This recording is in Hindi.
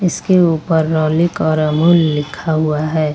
इसके ऊपर रोलिक और अमूल लिखा हुआ है।